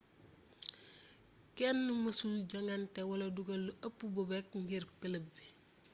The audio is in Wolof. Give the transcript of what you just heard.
kenn mësul jongante wala duggal lu ëpp bobek ngir club bi